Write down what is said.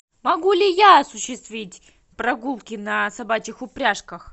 могу ли я осуществить прогулки на собачьих упряжках